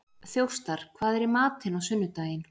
Þjóstar, hvað er í matinn á sunnudaginn?